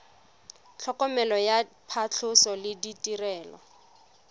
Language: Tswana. tlhokomelo ya phatlhoso le ditirelo